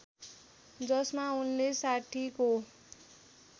जसमा उनले साठीको